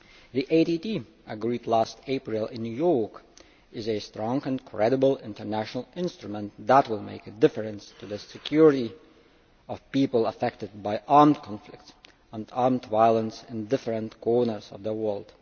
The ATT agreed last April in New York is a strong and credible international instrument that will make a difference to the security of people affected by armed conflict and armed violence in various corners of the world.